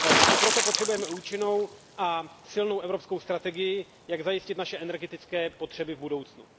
I proto potřebujeme účinnou a silnou evropskou strategii, jak zajistit naše energetické potřeby v budoucnu.